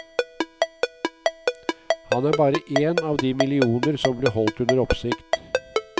Han er bare én av de millioner som ble holdt under oppsikt.